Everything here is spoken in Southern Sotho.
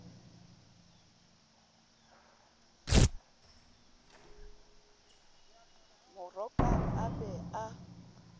mo rokang a be a